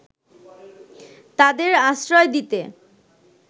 তাদের আশ্রয় দিতে